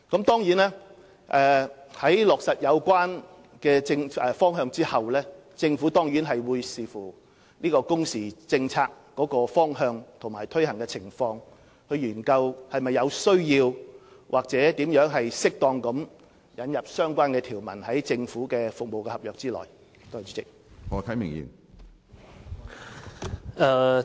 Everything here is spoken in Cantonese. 當然，在落實有關方向後，政府會視乎工時政策方向及其推行情況作出研究，探討是否有需要或如何適當地在政府服務合約內引入相關條款。